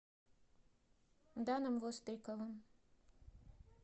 даном востриковым